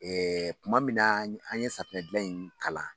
Ɛɛ tuma min na an ye safunɛdilan in kalan